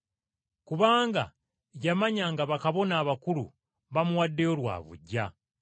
Kubanga yamanya nga bakabona abakulu bamuwaddeyo lwa buggya.